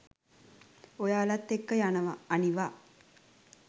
ඔයාලත් එක්ක යනවා අනිවා